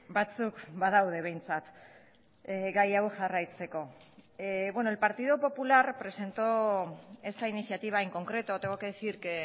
batzuk badaude behintzat gai hau jarraitzeko el partido popular presentó esta iniciativa en concreto tengo que decir que